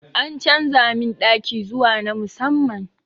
A canza min ɗaki zuwa na musamman